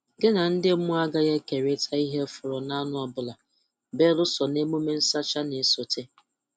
Gị na ndị mmụọ agaghị ekerịta ihe fọrọ n'anụ ọbụla belụsọ n'emume nsacha na-esote.